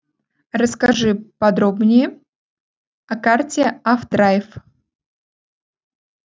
расскажи подробнее о карте авдрайв